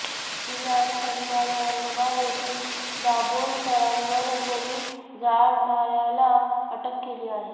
सीबीआयने शनिवारी औरंगाबाद येथून दाभोलकरांवर गोळी झाडणार्याला अटक केली आहे